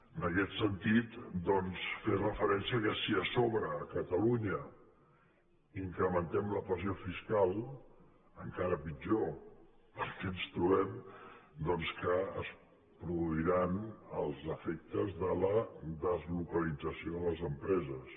en aquest sentit doncs fer referència que si a sobre a catalunya incrementem la pressió fiscal encara pitjor perquè ens trobem doncs que es produiran els efectes de la deslocalització de les empreses